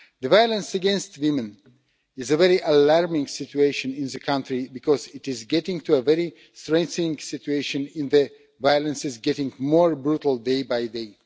Violence against women is a very alarming situation in the country because it is getting to a very threatening situation in that the violence is getting more brutal day by day.